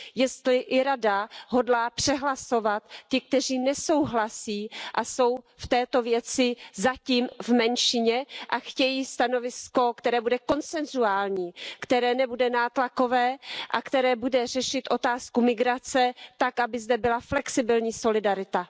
Jestli i Rada hodlá přehlasovat ty, kteří nesouhlasí a jsou v této věci zatím v menšině a chtějí stanovisko, které bude konsensuální, které nebude nátlakové a které bude řešit otázku migrace tak, aby zde byla flexibilní solidarita.